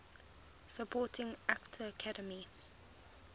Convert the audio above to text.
supporting actor academy